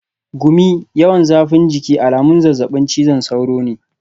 Gumi, yawan zafin jiki alamun zazzabin cizon sauro ne.